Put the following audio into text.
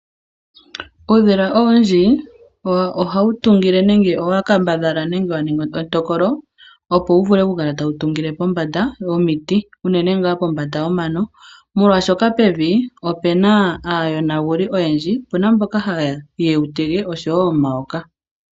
Uudhila owundji owo hawu tungile nenge owa kambadhala nenge wa ningi etokolo opo wu vule okukala tawu tungile pombanda yomiti, unene ngaa kombanda yomano, molwaashoka pevi opu na aayonaguli oyendji. Opu na mboka haye wu tege oshowo omayoka.